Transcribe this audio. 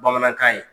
Bamanankan ye